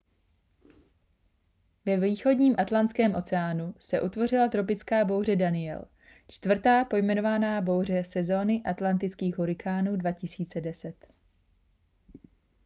ve východním atlantském oceánu se utvořila tropická bouře danielle čtvrtá pojmenovaná bouře sezóny atlantických hurikánů 2010